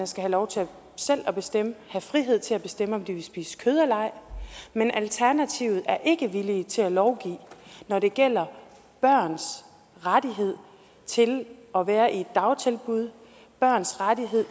skal lov til at bestemme have frihed til at bestemme om de vil spise kød eller ej men at alternativet ikke er villig til at lovgive når det gælder børns ret til at være i et dagtilbud børns ret